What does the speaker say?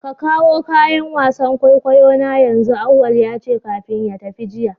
Kawo kayan wasan kwaikwayo na yanzu! auwal yace kafin ya fita jiya.